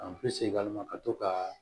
segin ka ma ka to ka